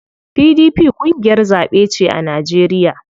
PDP ƙungiyar zaɓe ce a Najeriya.